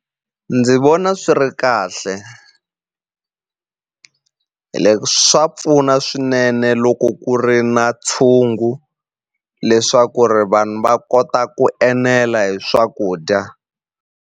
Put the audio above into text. Ndzi vona swi ri kahle swa pfuna swinene loko ku ri na tshungu leswaku ri vanhu va kota ku enela hi swakudya.